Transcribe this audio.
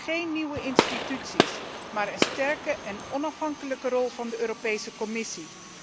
Geen nieuwe instellingen, maar een sterke en onafhankelijke rol van de Europese Commissie.